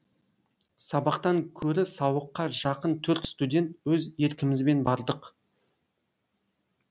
сабақтан көрі сауыққа жақын төрт студент өз еркімізбен бардық